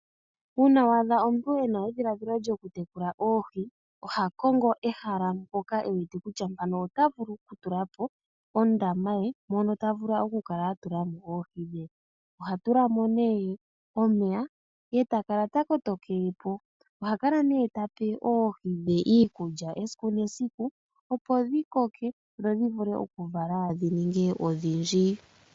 Uuna waadha omuntu ena edhiladhilo lyokumuna oohi, oha kongo ehala mpoka ewet kutya mpano ota vulu okutula po ondama ye mono ta vulu okutula mo oohi. Ohatula mo nee omeya eta kala ta koto kele po. Oha kala nee tape oohi dhe iikulya esiku medium opo dhi koke dhi vule okuvala dhi ninge odhindji.